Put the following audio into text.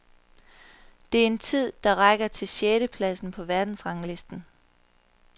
Det er en tid, der rækker til sjette pladsen på verdensranglisten.